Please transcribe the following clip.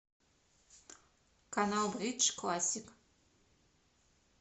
канал бридж классик